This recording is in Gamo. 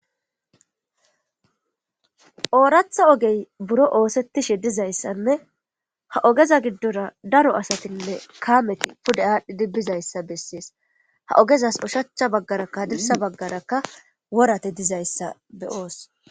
Ooratha ogey buro oosettishe dizayssanne ha ogeza giddora daro asatinne kaameti pude aadhdhi bizayssa bessees. Ha ogezas ushacha baggaraka haddirssa baggarakka worati dizayssa be7oos.